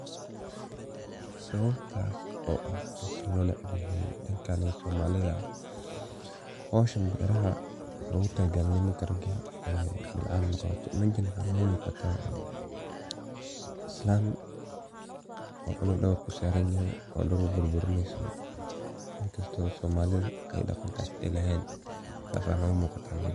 Sawabtas oo ah mida lo neeceb yahay dadkana somalida , howshan beraha waxa logu talo galay nimanka raga ah, mejaan waxa noga muqataa islan oo cunug dabarka u saran yahay oo dhul burburineysa inkasto somalida ay daqankas ay lehen sas aa ino muqataa mejan.